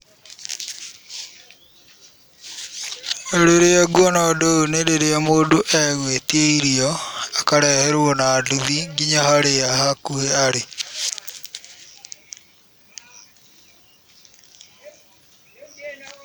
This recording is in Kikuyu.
Rĩrĩa nguona ũndũ ũyũ nĩrĩrĩa mũndũ egwĩtia irio akareherwo na nduthi nginya harĩa hakuhĩ arĩ.